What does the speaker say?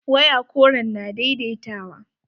Waya koren na daidaitawa.